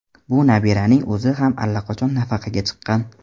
Bu nabiraning o‘zi ham allaqachon nafaqaga chiqqan.